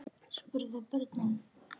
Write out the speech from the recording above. spurðu börnin.